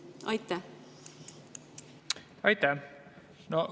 Aitäh!